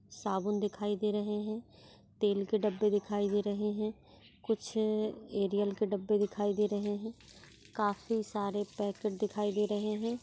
साबुन दिखाई दे रहे है तेल के डब्बे दिखाई दे रहे है कुछ एरियल के डब्बे दिखाई दे रहे है काफी सारे पेकेट दिखाई दे रहे है।